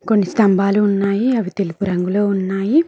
కొన్ని స్తంభాలు ఉన్నాయి అవి తెలుపు రంగులో ఉన్నాయి.